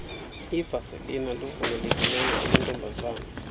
ivasilina luvumelekileyo amantobazana